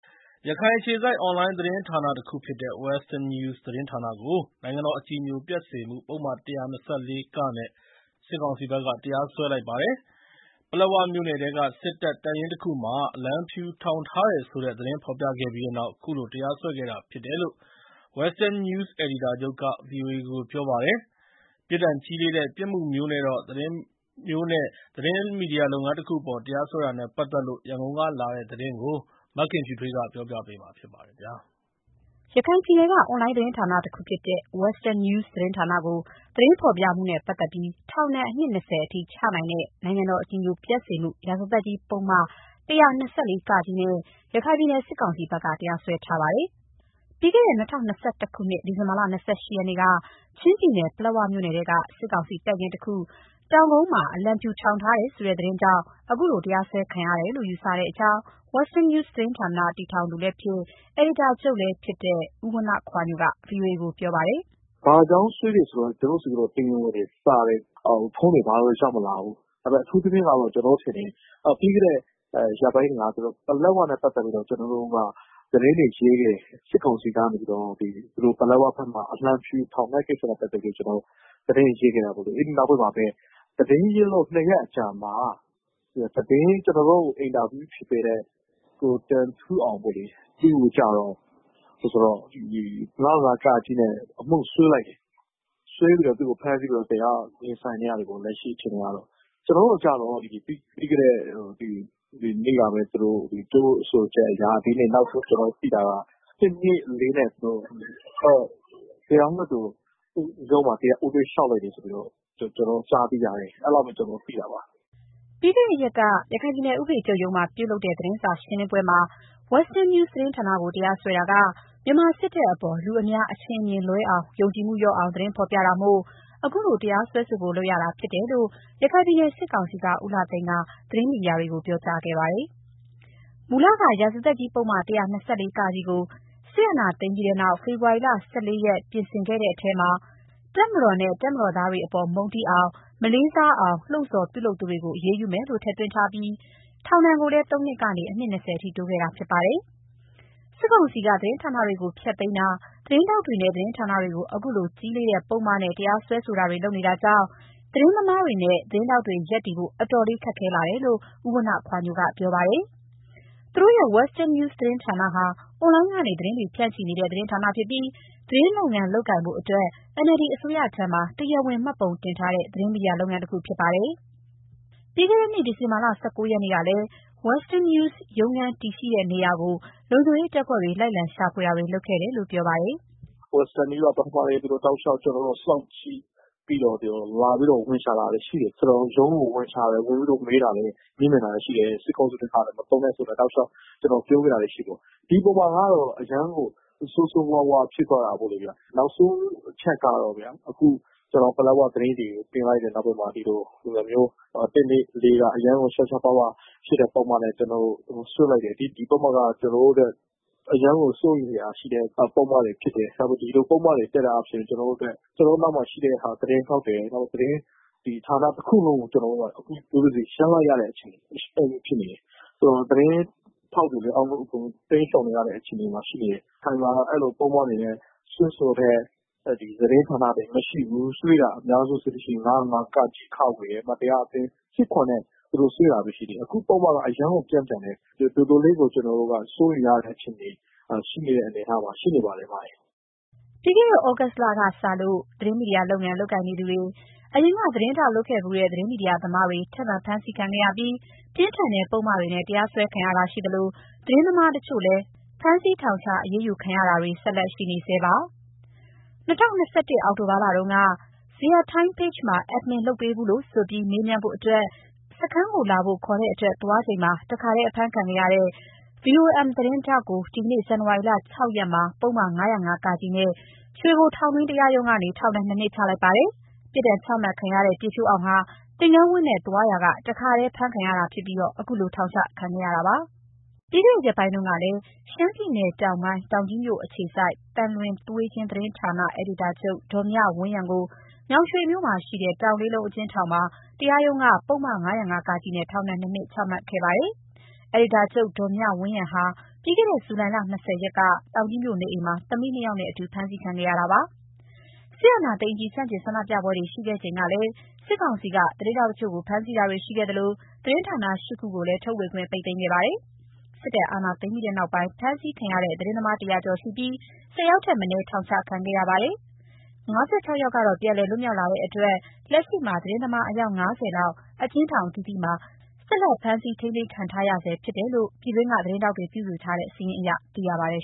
ရခိုင်အခြေစိုက် အွန်လိုင်းသတင်းဌာနတခုဖြစ်တဲ့Western News သတင်းဌာနကို နိုင် ငံတော် အကြည်ညိုပျက်စေမှု ပုဒ်မ ၁၂၄-က နဲ့စစ်ကောင်စီဘက်က တရားစွဲလိုက်ပါတယ်။ ပလက်ဝမြို့နယ်ထဲက စစ်တပ် တပ်ရင်းတခုမှာ အလံဖြူထောင်ထားတယ်ဆိုတဲ့ သတင်းဖော်ပြခဲ့ပြီးနောက် ခုလို တရားစွဲခံရတာဖြစ်တယ်လို့ Western News အယ်ဒီတာချုပ်က ဗွီအိုအေကို ပြောပါတယ်။ ပြစ်ဒဏ်ကြီးလေးတဲ့ ပြစ်မှုမျိုးနဲ့ သတင်းမီဒီယာလုပ်ငန်းတခုအပေါ် တရားစွဲတာနဲ့ပတ်သက်လို့ရန်ကုန်ကလာတဲ့သတင်းကို မခင်ဖြူထွေးက တင်ပြပေးထားပါတယ်။ ရခိုင်ပြည်နယ်က အွန်လိုင်းသတင်းဌာနတခုဖြစ်တဲ့ Western News သတင်းဌာနကို သတင်းဖော်ပြမှုနဲ့ပတ်သက်ပြီး ထောင်ဒဏ် အနှစ် ၂၀ အထိ ချနိုင်တဲ့ နိုင်ငံတော် အကြည်ညိုပျက်စေမှု ရာဇသတ်ကြီး ပုဒ်မ ၁၂၄-ကနဲ့ ရခိုင်ပြည်နယ် စစ်ကောင်စီဘက်က တရားစွဲထားပါတယ်။ ပြီးခဲ့တဲ့ ၂၀၂၁ ခုနှစ်၊ ဒီဇင်ဘာလ ၂၈ ရက်နေ့က ချင်းပြည်နယ် ပလက်ဝမြို့နယ်ထဲက စစ်ကောင်စီ တပ်ရင်းတခု တောင်ကုန်းမှာ အလံဖြူထောင်ထားတယ်ဆိုတဲ့ သတင်းကြောင့် အခုလို တရားစွဲခံရတယ်လို့ ယူဆကြောင်း Western News သတင်းဌာန တည်ထောင်သူလည်းဖြစ်၊ အယ်ဒီတာချုပ်လည်းဖြစ်သူ ဦးဝဏ္ဏခွာညိုက ဗွီအိုအေကိုပြောပါတယ်။ “ဘာကြောင့်စွဲလဲဆိုတာ ကျနော်တို့ဆီစာတွေ ဖုန်းတွေ တရားဝင်ရောက်မလာဘူး။ အထူးသဖြင့်ကတော့ ကျနော်ထင်တယ်၊ ပြီးခဲ့တဲ့ရက်ပိုင်းတွေက ပလက်ဝနဲ့ပတ်သက်လို့ သတင်းတွေရေးတယ်။ စစ်ကောင်စီက ပလက်ဝဘက်မှာ အလံဖြူထောင်တဲ့ကိစ္စကို သတင်းတွေရေးပြီးနောက်ပိုင်းမှာပဲ သတင်းရေးလို့ ၂ ရက်အကြာမှာ ကျနော်တို့ကို အင်တာဗျူးဖြေပေးတဲ့ ကိုတင်ထူးအောင်ပေါ့လေ၊ သူ့ကိုကျတော့ ၅၀၅-ကနဲ့ အမှုစွဲလိုက် တယ်။ စွဲလို့ အခုတရားရင်ဆိုင်နေရတယ်ပေါ့။ အခုအခြေအနေအရ ကျနော်တို့ကိုကျတော့ ပြီးခဲ့တဲ့ ရက်ကပြောချက်အရ ၁၂၄ နဲ့ တရားလွှတ်တော် ရုံးမှာ ဦးတိုက်လျှောက်တယ်။” ပြီးခဲ့တဲ့ရက်က ရခိုင်ပြည်နယ်ဥပဒေချုပ်ရုံးမှာ ပြုလုပ်တဲ့ သတင်းစာရှင်းလင်းပွဲမှာ Western News သတင်း ဌာနကိုတရားစွဲတာက မြန်မာစစ်တပ်အပေါ် လူအများ အထင် အမြင်လွဲအောင်နဲ့ ယုံကြည်မှု လျော့အောင် သတင်းဖော်ပြတာမို့ အခုလို တရားစွဲဆိုဖို့ လုပ်ရတာဖြစ်တယ်လို့ ရခိုင်ပြည်နယ် စစ်ကောင်စီက ဦးလှသိန်းက သတင်းမီဒီယာတွေကို ပြောကြားခဲ့ပါတယ်။ မူလ ရာဇသတ်ကြီးပုဒ်မ ၁၂၄ (က) ကို စစ်အာဏာသိမ်းပြီးနောက် ဖေဖော်ဝါရီလ ၁၄ ရက်နေ့က ပြင်ဆင်ခဲ့တဲ့ထဲမှာ တပ်မတော်၊ တပ်မတော်သားတွေအပေါ် မုန်းတီးအောင်၊ မလေးစားအောင်၊ လှုံ့ဆော် ပြုလုပ်သူတွေကိုအရေးယူမယ်လို့ ထည့်သွင်းခဲ့ပြီး ထောင်ဒဏ်ကိုလည်း ၃ နှစ်ကနေ အနှစ် ၂၀ အထိ တိုးခဲ့တာဖြစ်ပါတယ်။ စစ်ကောင်စီက သတင်းဌာနတွေကို ဖျက်သိမ်းတာ သတင်းထောက်တွေနဲ့ သတင်းဌာနတွေကို အခုလို ကြီးလေးတဲ့ ပုဒ်မနဲ့ တရားစွဲဆိုတာတွေ လုပ်နေတာကြောင့် သတင်းသမားတွေနဲ့ သတင်းထောက်တွေ ရပ်တည်ဖို့ အတော်လေးခက်ခဲလာတယ်လို့ ဦးဝဏ္ဏခွာညိုက ပြောပါတယ်။ သူတို့ရဲ့ Western News သတင်းဌာနဟာ အွန်လိုင်းကနေ သတင်းတွေ ဖြန့်ချိနေတဲ့ သတင်းဌာနဖြစ်ပြီး သတင်းလုပ်ငန်းလုပ်ကိုင်ဖို့ NLD အစိုးရဆီမှာ တရားဝင် မှတ်ပုံတင်ထားတဲ့ သတင်းမီဒီယာလုပ်ငန်းတခုဖြစ်ပါတယ်။ပြီးခဲ့တဲ့နှစ် ဒီဇင်ဘာလ ၁၉ ရက်နေ့ကလည်း Western News ရုံးခန်းတည်နေရာကို လုံခြုံရေးတပ်ဖွဲ့တွေ့ လိုက်လံရှာဖွေတာတွေ လုပ်ခဲ့တယ်လို့ပြောပါတယ်။ “Western News က ပထမလည်း ကျနော်တို့ကို စောင့်ကြည့်လာပြီးတော့ ဝင်ရှာတာလည်း ရှိတယ်။ ရုံးကို မေးမြန်းတာလည်းရှိတယ်။ စစ်ကောင်စီဆိုပြီး မသုံးဖို့ပြောခဲ့တာတွေရှိတယ်။ ဒီအပေါ်မှာကတော့ အရမ်းကို ဆိုးဆိုးဝါးဝါးဖြစ်သွားတာပေါ့လေ။ နောက်ဆုံးအချက်ကတော့ ဒီပလက်ဝသတင်းတွေ တင်လိုက်တာမှာ အခု အရမ်းကို ရှားရှားပါးပါးပုံစံနဲ့စွဲလိုက်တယ်။ ဒီပုဒ်မက အရမ်းကိုစိုးရိမ်စရာဖြစ်တဲ့ ပုဒ်မတွေဖြစ်တယ်။ ဒီလိုပုဒ်မတပ် လို့ ကျနော်တို့အတွက် ကျနော်တို့နောက်မှာရှိတဲ့ သတင်းထောက်တွေနဲ့ ဌာနတခုလုံးရပ် လိုက်ရတဲ့ အခြေအနေဖြစ်နေတယ်။ သတင်းထောက်တွေလည်း တိမ်းရှောင်နေရတဲ့ အခြေအနေမှာ ရှိနေတယ်။ ရခိုင်မှာ အဲလိုပုဒ်မနဲ့စွဲဆိုတာမရှိဘူး။ စွဲတာအများဆုံးက ၅၀၅-က၊ ခ ။ နောက် မတရားအသင်းဆက်နွယ်မှု ၁၇/၁ နဲ့စွဲတာပဲ ရှိတယ်။ ခုပုဒ်မကအရမ်းပြင်းထန်တယ်။ တော်တော်လေးကို စိုးရိမ်ရတဲ့ အခြေအနေဖြစ်နေတဲ့အနေအထားရှိနေပါတယ်။” ပြီးခဲ့နှစ် သြဂုတ်လထဲကစလို့ သတင်းမီဒီယာလုပ်ငန်း လုပ်ကိုင်နေသူတွေ၊ အရင်က သတင်းထောက်လုပ်ခဲ့ဖူးတဲ့ သတင်းမီဒီယာသမားတွေ ထပ်မံဖမ်းဆီးခံခဲ့ရပြီး ပြင်းထန်တဲ့ပုဒ်မတွေနဲ့ တရားစွဲခံရတာရှိသလို သတင်းသမားတချို့ကိုလည်း ဖမ်းဆီးထောင်ချ အရေးယူတာတွေ ဆက်လက်ရှိ နေဆဲပါ။ ၂၀၂၁ အောက်တိုဘာလတုန်းက Zayar Time page မှာ Admin လုပ်ပေးဖူးလို့ဆိုပြီး မေး မြန်း ဖို့အတွက် စခန်းလာဖို့ ခေါ်တဲ့အတွက် သွား ချိန်မှာ တခါထဲဖမ်းခံခဲ့ရတဲ့ VOM သတင်းထောက်ကို ဒီနေ့ ဇန်နဝါရီလ ၆ ရက်မှာပုဒ်မ ၅၀၅-က နဲ့ ရွှေဘိုထောင်တွင်း တရားရုံးကနေ ထောင်ဒဏ် ၂ နှစ် ချလိုက်ပါတယ်။ ပြစ်ဒဏ်ချမှတ်ခံရတဲ့ ပြည့်ဖြိုးအောင် ဟာ သင်္ကန်းဝတ်နဲ့သွားရာက တခါတည်းဖမ်းခံရပြီး အခုလိုထောင်ချခံခဲ့ရတာပါ။ ပြီးခဲ့တဲ့ရက်ပိုင်းကလည်း ရှမ်းပြည်နယ်(တောင်ပိုင်း)၊ တောင်ကြီးမြို့အခြေစိုက် သံလွင်သွေးချင်း သတင်းဌာန အယ်ဒီတာချုပ် ဒေါ်မြဝန်းရံကို ညောင်ရွှေမြို့ရှိ တောင်လေးလုံးအကျဉ်းထောင်တွင်း တရားရုံးက ပုဒ်မ-၅၀၅-ကနဲ့ ထောင်ဒဏ် ၂ နှစ်ချမှတ်ခဲ့တာလည်းရှိပါတယ်။ အယ်ဒီတာချုပ် ဒေါ်မြဝန်းရံဟာပြီးခဲ့တဲ့ ဇူလိုင် ၂၀ ရက်က တောင်ကြီးမြို့နေအိမ်မှာ သမီးနှစ်ယာက်နဲ့အတူဖမ်းဆီးခံခဲ့ရတာပါ။ စစ်အာဏာသိမ်းအပြီး ဆန့်ကျင်ဆန္ဒပြပွဲတွေ ရှိခဲ့ချိန်ကလည်း စစ်ကောင်စီက သတင်းထောက် တချို့ကို ဖမ်းဆီးခဲ့တာတွေရှိသလို သတင်းဌာန ၈ ခုကိုလည်း ထုတ်ဝေခွင့် ပိတ် သိမ်းခဲ့ပါတယ်။ စစ်တပ်အာဏာသိမ်းပြီးတဲ့နောက်ပိုင်း ဖမ်းဆီးခံရတဲ့ သတင်းသမား ၁၀၀ ကျော်ရှိခဲ့ပြီး ၁၀ ယောက်ထက် မနည်း ထောင်ချခံခဲ့ရပါတယ်။ ၅၆ ယောက်ကတော့ ပြန်လည်လွတ်မြောက်လာခဲ့တဲ့အတွက် လက်ရှိမှာ သတင်းသမား အယောက် ၅၀ လောက် အကျဉ်းထောင်အသီးသီးမှာ ဆက်လက် ဖမ်းဆီး ထိန်းသိမ်းခံထားရ ဆဲ ဖြစ်တယ်လို့ ပြည်တွင်းက သတင်းထောက်တွေ ပြုစုထားတဲ့ စာရင်းအရ သိရပါတယ်